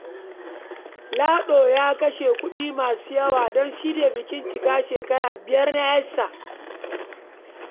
Lado ya kashe kuɗi masu yawa don shirya bikin cika shekara biyar na 'yarsa.